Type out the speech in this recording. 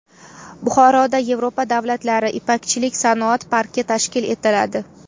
Buxoroda Yevropa davlatlari ipakchilik sanoat parki tashkil etiladi.